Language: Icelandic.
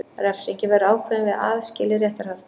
Refsingin verður ákveðin við aðskilið réttarhald